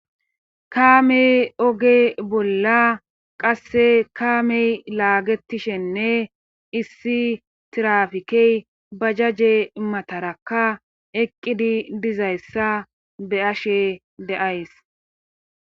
kamey oge bolla qasse kaamey laagetishenne issi tirafikey bajajje matarakka eqqidi dizayssa be7ashe de7ays.